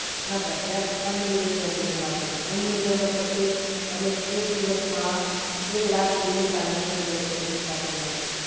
ના sir, app unlimited transactions આપે છે. unlimited મતલબ કે તમે એક દિવસમાં એક લાખ સુધીનુ transaction કરી શકો છો.